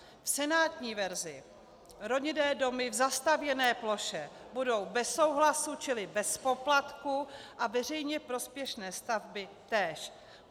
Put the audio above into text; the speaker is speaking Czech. V senátní verzi rodinné domy v zastavěné ploše budou bez souhlasu čili bez poplatku a veřejně prospěšné stavby též.